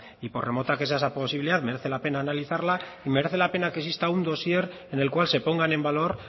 y por remota que sea esa posibilidad merece la pena analizarla y merece la pena que exista un dossier en el cual se pongan en valor